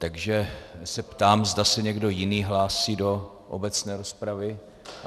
Takže se ptám, zda se někdo jiný hlásí do obecné rozpravy.